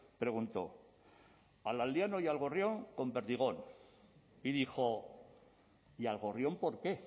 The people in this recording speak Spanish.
preguntó al aldeano y al gorrión con perdigón y dijo y al gorrión por qué